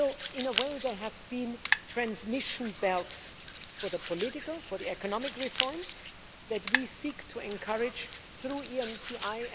In a way, they have been transmission belts for the political and economic reforms that we seek to encourage through the ENPI.